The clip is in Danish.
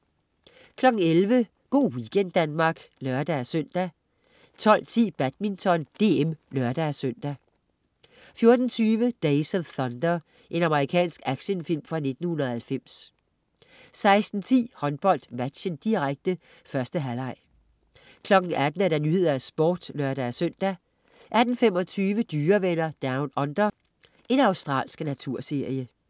11.00 Go' weekend Danmark (lør-søn) 12.10 Badminton: DM (lør-søn) 14.20 Days of Thunder. Amerikansk actionfilm fra 1990 16.10 HåndboldMatchen, direkte. 1. halvleg 18.00 Nyhederne og Sporten (lør-søn) 18.25 Dyrevenner Down Under. Australsk naturserie